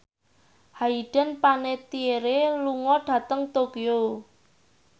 Hayden Panettiere lunga dhateng Tokyo